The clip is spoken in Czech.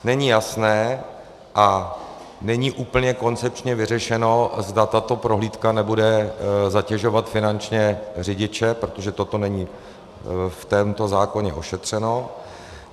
Není jasné a není úplně koncepčně vyřešeno, zda tato prohlídka nebude zatěžovat finančně řidiče, protože toto není v tomto zákoně ošetřeno.